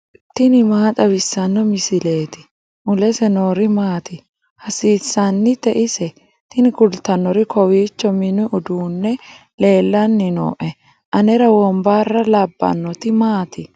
tini maa xawissanno misileeti ? mulese noori maati ? hiissinannite ise ? tini kultannori kowiicho mini uduunni leellanni nooe anera wombarra labbannoti maati